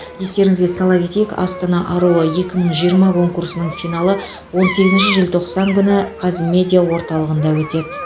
естеріңізге сала кетейік астана аруы екі мың жиырма конкурсының финалы он сегізінші желтоқсан күні қазмедиа орталығында өтеді